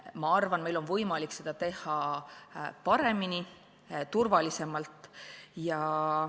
Ma arvan, et meil on võimalik seda teha paremini, turvalisemalt.